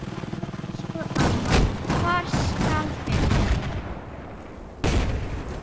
Elsku amma, hvar skal byrja?